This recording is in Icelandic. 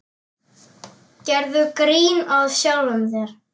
Gerðu grín að sjálfum þér.